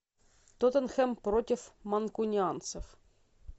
тоттенхэм против манкунианцев